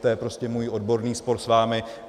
To je prostě můj odborný spor s vámi.